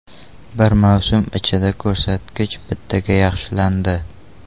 Bir mavsum ichida ko‘rsatkich bittaga yaxshilandi.